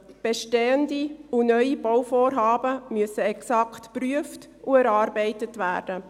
Bestehende und neue Bauvorhaben müssen exakt geprüft und erarbeitet werden.